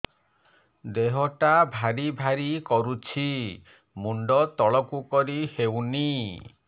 ଦେହଟା ଭାରି ଭାରି କରୁଛି ମୁଣ୍ଡ ତଳକୁ କରି ହେଉନି